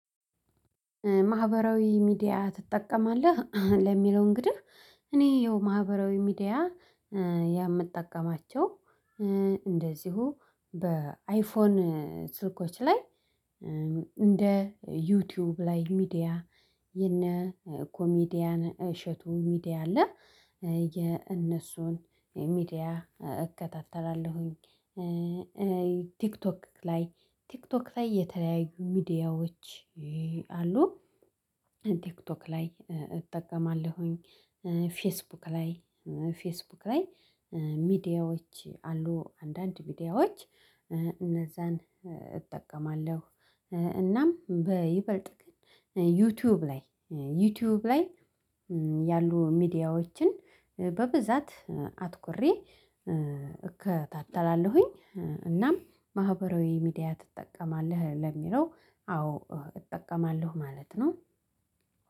ማህበራዊ ሚዲያ ትጠቀማለህ ለሚለው እንግዲህ እኔ ይኸው ማህበራዊ ሚዲያ የምጠቀማቸው እንደዚሁ በአይፎን ስልኮች ላይ እንደ ዩቲዩብ ላይ ሚዲያ የነ ኮሚዲያን እሸቱ ሚዲያ አለ የእነሱን ሚዲያ እከታተላለሁ። ቲክቶክ ላይ ቲክቶክ ላይ የተለያዩ ሚዲያዎች አሉ። ቲክቶክ ላይ እጠቀማለሁ ፌስቡክ ላይ ፌስቡክ ላይ ሚዲያዎች አሉ አንዳንድ ሚዲያዎች እነዛን እጠቀማለሁ። እናም በይበልጥ ግን ዩቲዩብ ላይ ዩቲዩብ ላይ ያሉ ሚዲያዎችን በብዛት አትኩሬ እከታተላለሁ። እናም ማህበራዊ ሚዲያ ትጠቀማለህ ለሚለው አዎ እጠቀማለሁ ማለት ነው።